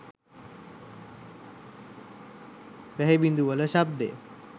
වැහි බිඳුවල ශබ්දය